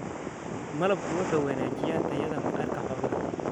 malabku wuxuu wanaajiyaa tayada maqaarka xoolaha.